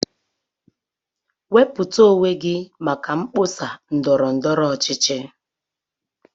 Wepụta onwe gị maka mkpọsa ndọrọ ndọrọ ọchịchị